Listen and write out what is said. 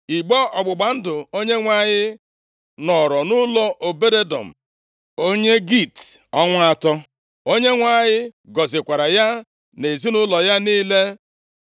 Igbe ọgbụgba ndụ Onyenwe anyị nọrọ nʼụlọ Obed-Edọm, onye Git ọnwa atọ. Onyenwe anyị gọzikwara ya na ezinaụlọ ya niile.